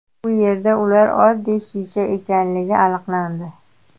Bu yerda ular oddiy shisha ekanligi aniqlandi.